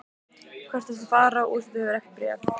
Hvert ertu að fara úr því þú hefur ekkert bréf?